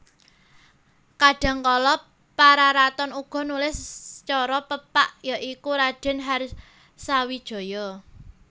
Kadhangkala Pararaton uga nulis sacara pepak ya iku Raden Harsawijaya